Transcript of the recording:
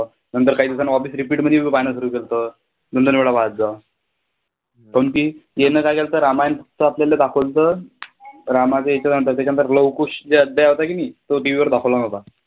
नंतर काही दिवसांनी office repeat बी पाहणं सुरू केलंतं पण ती यानं काय केलंतं रामायण नुसत आपल्याला दाखवलंत, रामाच्या ह्याच्यानंतर त्याच्यानंतर लव कुश चे जे अध्याय होता की नाही, तो TV वर दाखवला नव्हता.